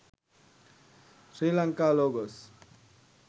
srilanka logos